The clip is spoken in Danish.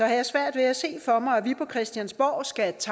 jeg har svært ved at se for mig at vi på christiansborg skal